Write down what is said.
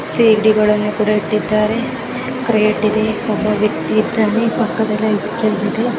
ಸೀಗಡಿಗಳನ್ನು ಕೂಡ ಇಟ್ಟಿದ್ದಾರೆ ಕ್ರೆಟ್ ಇದೆ ಒಬ್ಬ ವ್ಯಕ್ತಿ ಇದಾನೆ ಪಕ್ಕದಲ್ಲೇ ಐಸ್ ಕ್ಯೂಬ್ ಇದೆ.